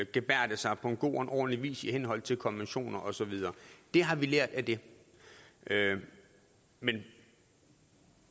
gebærde sig på en god og ordentlig vis i henhold til konventioner og så videre det har vi lært af det men